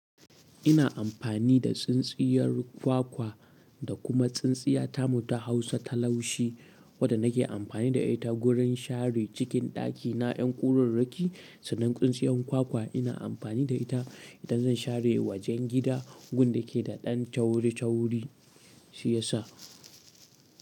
Ina amfani da tsin tsiyar kwakwa da kuma tsin tsiya tamu ta Hausa ta laushi wadda nake amfani da ita gurin share cikin dakina 'yan kuraraki sannan tsintsiyar kwakwa ina amfani da ita idan zan share wajen gida, wun da ke da ɗan tauri-tauri shiya sa.